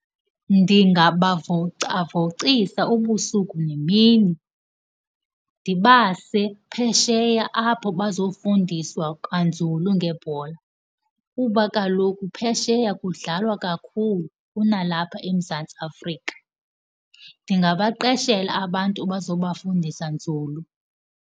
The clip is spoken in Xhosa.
Ndingabavocavocisa ubusuku nemini, ndibase phesheya apho bazofundiswa kanzulu ngebhola kuba kaloku phesheya kudlalwa kakhulu kunalapha eMzantsi Afrika. Ndingabaqeshela abantu abazokuba fundisa nzulu.